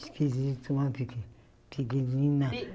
Esquisito, uma peque pequenina.